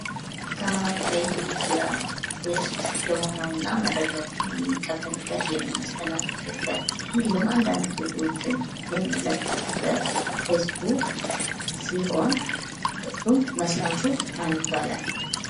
ከማህበራዊ ሚዲያ ውስጥ የሆነው እና መረጃዎችን የምንቀበልበት የምናስተላልፍበት እንዲሁም አንዳንድ ፎቶዎችን የምንለጥፍበት ፌስቡክ ሲሆን እሱም መስራቹ ማን ይባላል?